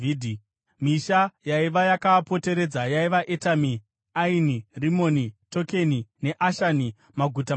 Misha yaiva yakaapoteredza yaiva: Etami, Aini, Rimoni, Tokeni neAshani, maguta mashanu